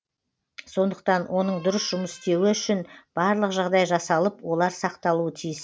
сондықтан оның дұрыс жұмыс істеуі үшін барлық жағдай жасалып олар сақталуы тиіс